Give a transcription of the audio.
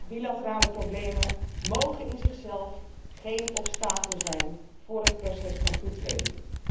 Bilaterale problemen mogen op zichzelf geen obstakel zijn voor het proces van toetreding.